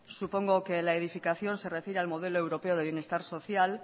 supongo que la edificación se refiere al modelo europeo de bienestar social